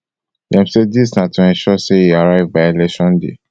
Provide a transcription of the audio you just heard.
dem say dis na to ensure say e arrive by election day